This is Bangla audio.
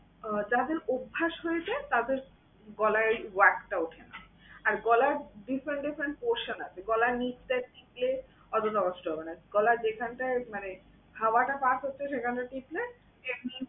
আহ যাদের অভ্যাস হয়ে যায় তাদের গলায় টা উঠে না। আর গলার different different portion আছে। গলার নিচটার দিকে অতটা কষ্ট হবে না। গলার যেখানটায় মানে খাওয়াটা pass হচ্ছে সেখানটায় ঠেকলে এমনিই